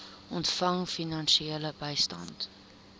ontvang finansiële bystand